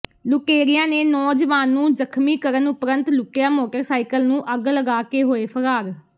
ਲੁਟੇਰਿਆਂ ਨੇ ਨੌਜਵਾਨ ਨੂੰ ਜ਼ਖ਼ਮੀ ਕਰਨ ਉਪਰੰਤ ਲੁੱਟਿਆ ਮੋਟਰਸਾਈਕਲ ਨੂੰ ਅੱਗ ਲਗਾ ਕੇ ਹੋਏ ਫ਼ਰਾਰ